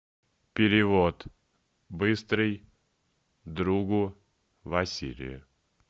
перевод быстрый другу василию